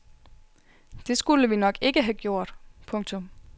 Det skulle vi nok ikke have gjort. punktum